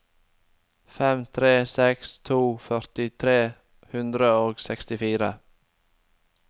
fem tre seks to førti tre hundre og sekstifire